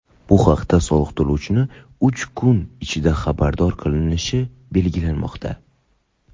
bu haqda soliq to‘lovchini uch kun ichida xabardor qilinishi belgilanmoqda.